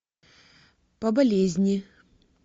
по болезни